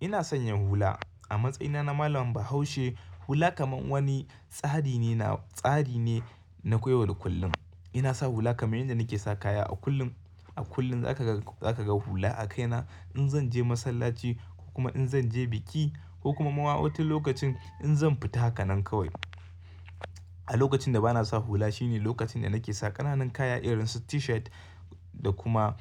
Ina sanya hula. A matsayina na malam Bahaushe, hula kamar wani tsari ne, na tsari ne na yau da kullum. Ina sa hula kamar yadda nake sa kaya. A kullum, a kullum za ka ga, za ka ga hula a kaina in zan je masallaci ko kuma in zan je biki ko kuma a wani lokacin in zan fita haka nan kawai. A lokacin da ba na sa hula shine lokacin da nake sa ƙananan kaya irin su T-shirt da kuma,